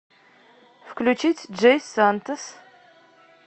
включить джей сантос